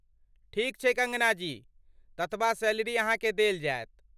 ठीक छै कङ्गना जी, ततबा सैलरी अहाँ के देल जायत।